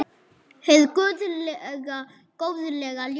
Hið guðlega góðlega ljós.